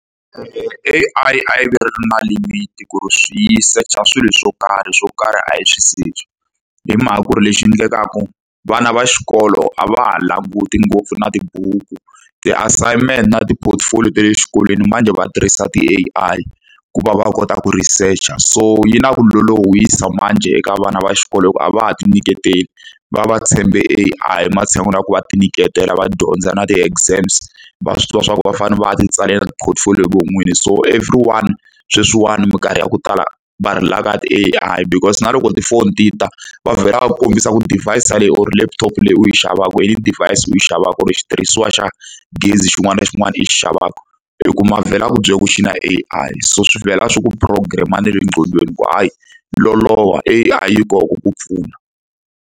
E-e A_I a yi ve yi ri na limit-i ku ri yi search-a swilo swo karhi swo karhi a yi swi search-i. Hi mhaka ku ri lexi endlekaka vana va xikolo a va ha languti ngopfu na tibuku, ti-assignment na ti-portfolio ta le xikolweni manjhe va tirhisa ti-A_I ku va va kota ku research-a. So yi na ku lolohisa manjhe eka vana va xikolo hikuva a va ha tinyiketeli, va va va tshembe A_I ematshan'wini ya ku va tinyiketela, va dyondza na ti-exams, va swi tiva swa ku va fanele va ya ti tsalela ti-portfolio hi vona vinyi. So everyone sweswiwani minkarhi ya ku tala va relay-a ti-A_I because na loko tifoni ti ta, va vhela va kombisa ku device-a or laptop leyi u yi xavaku device u yi xavaka, xitirhisiwa xa gezi xin'wana na xin'wana i xi xavaka, i kuma va vhela va ku byela ku xi na A_I. So swi vhela swi ku program-a ne le nqcondweni ku hayi loloha A_I yi kona ku ku pfuna.